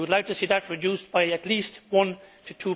We would like to see that reduced by at least 1 to